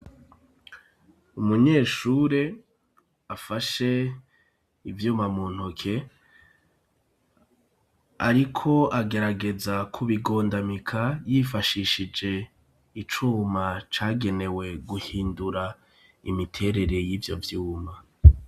Umunyeshure afashe ivyuma mu ntoke, ariko agerageza k ubigondamika yifashishije icuma cagenewe guhindura imiterere y'ivyo vyuma.